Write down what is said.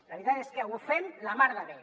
la veritat és que ho fem la mar de bé